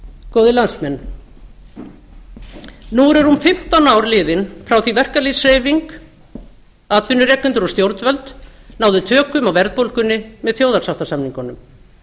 góðir landsmenn nú eru rúm fimmtán ár liðin frá því verkalýðshreyfing atvinnurekendur og stjórnvöld náðu tökum á verðbólgunni með þjóðarsáttarsamningunum